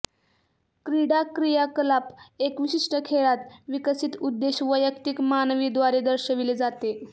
क्रीडा क्रियाकलाप एक विशिष्ट खेळात विकसित उद्देश वैयक्तिक मानवी द्वारे दर्शविले जाते